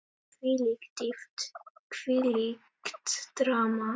Þvílík dýpt, þvílíkt drama.